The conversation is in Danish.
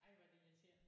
Ej hvor er det irriterende